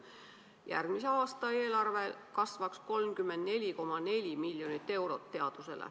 Järgmise aasta eelarve kasvaks nii, et teadusele läheks 34,4 miljonit eurot.